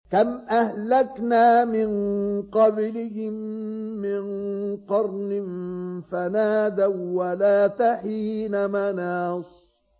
كَمْ أَهْلَكْنَا مِن قَبْلِهِم مِّن قَرْنٍ فَنَادَوا وَّلَاتَ حِينَ مَنَاصٍ